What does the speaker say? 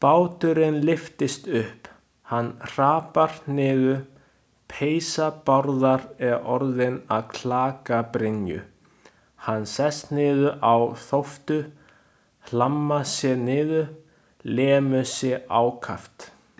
Báturinn lyftist upp, hann hrapar niður, peysa Bárðar er orðin að klakabrynju, hann sest niður á þóftu, hlammar sér niður, lemur sig ákaft.